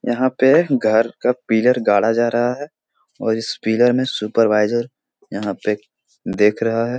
यहाँ पे घर का पिलर गाढ़ा जा रहा है और इस पिलर में सुपरवाइजर यहाँ पे देख रहा है।